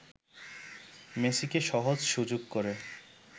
মেসিকে সহজ সুযোগ করে